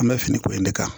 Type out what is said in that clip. An bɛ finikolon in de kan